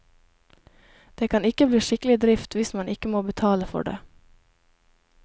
Det kan ikke bli skikkelig drift hvis man ikke må betale for det.